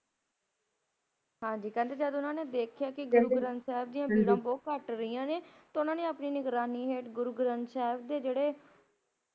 ਹਾਂਜੀ, ਕਹਿੰਦੇ ਜਦ ਓਹਨਾ ਨੇ ਦੇਖਿਆ ਕੇ ਗੁਰੂ ਗ੍ਰੰਥ ਸਾਹਿਬ ਦਿਆ ਬੀੜਾਂ ਬਹੁਤ ਘੱਟ ਰਹਿਆ ਨੇ ਤਾਂ ਉਹਨਾਂ ਨੇ ਆਪਣੀ ਨਿਗਰਾਨੀ ਹੇਠ ਗੁਰੂ ਗ੍ਰੰਥ ਸਾਹਿਬ ਦੇ ਜੇਹੜੇ